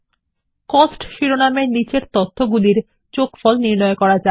cost শিরোনামের নিচের তথ্যগুলির আংশিক যোগফল বার করা যাক